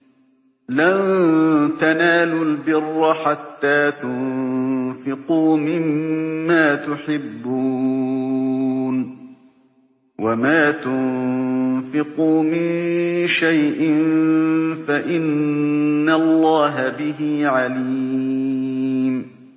لَن تَنَالُوا الْبِرَّ حَتَّىٰ تُنفِقُوا مِمَّا تُحِبُّونَ ۚ وَمَا تُنفِقُوا مِن شَيْءٍ فَإِنَّ اللَّهَ بِهِ عَلِيمٌ